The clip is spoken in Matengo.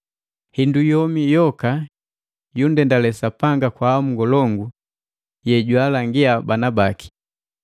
Hindu yomi yoka yunndendale Sapanga kwa hamu ngolongu jwaalangia bana baki.